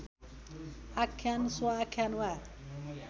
आख्यान स्वआख्यान वा